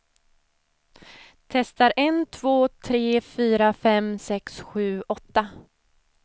Testar en två tre fyra fem sex sju åtta.